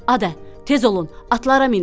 Adə, tez olun, atlara minin.